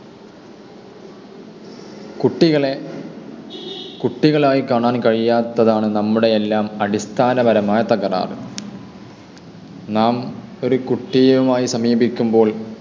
കുട്ടികളെ കുട്ടികളായി കാണാൻ കഴിയാത്തതാണ് നമ്മുടെയെല്ലാം അടിസ്ഥാനപരമായ തകരാറ്. നാം ഒരു കുട്ടിയുമായി സമീപിക്കുമ്പോൾ,